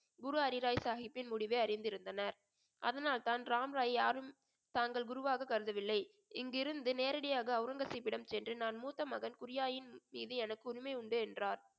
குரு ஹரிராய் சாஹிப்பின் முடிவை அறிந்திருந்தனர் அதனால்தான் ராம்ராய் யாரும் தாங்கள் குருவாக கருதவில்லை இங்கிருந்து நேரடியாக அவுரங்கசீப்பிடம் சென்று நான் மூத்த மகன் மீது எனக்கு உரிமை உண்டு என்றார்